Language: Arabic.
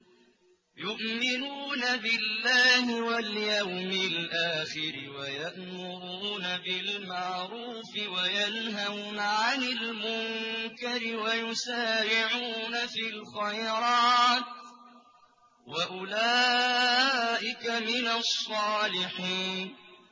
يُؤْمِنُونَ بِاللَّهِ وَالْيَوْمِ الْآخِرِ وَيَأْمُرُونَ بِالْمَعْرُوفِ وَيَنْهَوْنَ عَنِ الْمُنكَرِ وَيُسَارِعُونَ فِي الْخَيْرَاتِ وَأُولَٰئِكَ مِنَ الصَّالِحِينَ